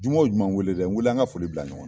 Juma wo juma n wele dɛ ,n wele an ka foli bila ɲɔgɔn na.